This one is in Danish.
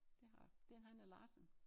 Det har jeg det en Hanne Larsen